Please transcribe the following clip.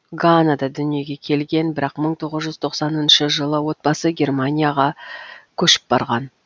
ганада дүниеге келген бірақ мың тоғыз жүз тоқсаныншы жылы отбасы германияға көшіп барған